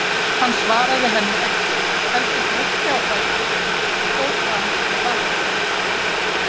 Hann svaraði henni ekki, heldur brölti á fætur og fór fram í baðherbergi.